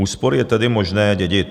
Úspory je tedy možné dědit.